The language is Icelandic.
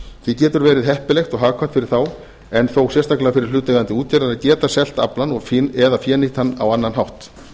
því getur verið heppilegt og hagkvæmt fyrir þá en þó sérstaklega fyrir hlutaðeigandi útgerð að geta selt aflann eða fénýtt hann á annan hátt